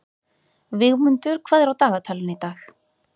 Vígmundur, hvað er á dagatalinu í dag?